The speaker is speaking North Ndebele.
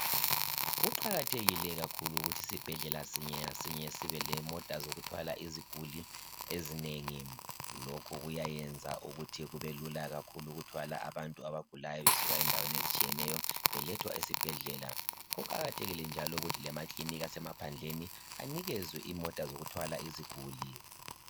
Kuqakathekile kakhulu ukuthi isibhedlela sinye ngasinye sibe lemota zokuthwala iziguli ezinengi, lokhu kuyayenza ukuthi kubelula ukuthwala abantu abagulayo besuka endaweni ezitshiyeneyo belethwa esibhedlela kuqakathekile njalo lokuthi emakilinika asemaphandleni anikezwe imota zokuthwala iziguli.